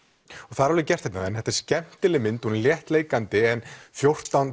það er alveg gert hérna en þetta er skemmtileg mynd hún er léttleikandi en fjórtán